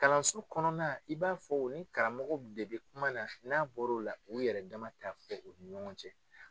Kalanso kɔnɔna, i b'a fɔ u ni karamɔgɔ de bi kuma na, n'a bɔr'o la, u yɛrɛ dama t'a fɔ u ni ɲɔgɔn cɛ.